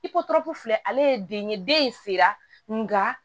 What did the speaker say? I ko tɔnko filɛ ale ye den ye den sera nka